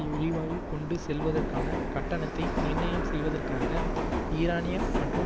எரிவாயு கொண்டு செல்வதற்கான கட்டணத்தை நிர்ணயம் செய்வதற்காக ஈரானிய மற்றும்